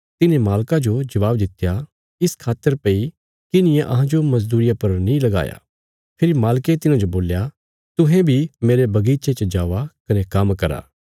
तिन्हें मालका जो जवाव दित्या इस खातर भई किन्हिये अहांजो मजदूरिया पर नीं लगाया फेरी मालके तिन्हांजो बोल्या तुहें बी मेरे बगीचे च जावा कने काम्म करा